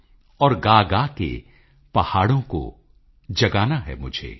ਔਰ ਗਾਗਾ ਕੇ ਪਹਾੜੋਂ ਕੋ ਜਗਾਨਾ ਹੈ ਮੁਝੇ